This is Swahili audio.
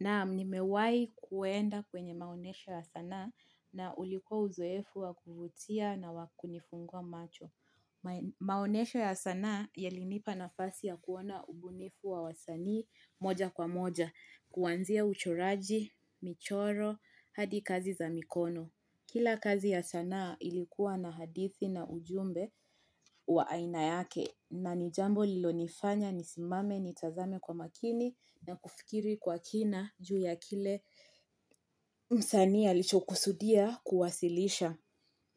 Naam nimewahi kuenda kwenye maonyesho ya sanaa na ulikuwa uzoefu wa kuvutia na wa kunifungua macho. Maonesho ya sanaa yalinipa nafasi ya kuona ubunifu wa wasanii moja kwa moja, kuanzia uchoraji, michoro, hadi kazi za mikono. Kila kazi ya sanaa ilikuwa na hadithi na ujumbe wa aina yake na ni jambo lilonifanya ni simame nitazame kwa makini na kufikiri kwa kina. Juu ya kile msanii alichokusudia kuwasilisha